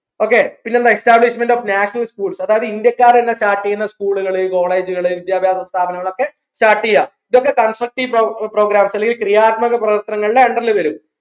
okay പിന്നെന്താ establishment of national schools അതായത് ഇന്ത്യക്കാർ തന്നെ start ചെയ്യുന്ന scholl college കള വിദ്യാഭ്യാസ സ്ഥാപനങ്ങൾ ഒക്കെ start ചെയ്യാ ഇതൊക്കെ constructive programs ൽ അല്ലെങ്കിൽ ക്രിയാത്മക പ്രവർത്തനങ്ങൾ under ൽ വരും